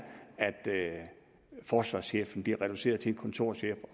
at forsvarschefen bliver reduceret til en kontorchef